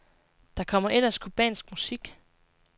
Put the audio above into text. Der kommer ellers cubansk musik.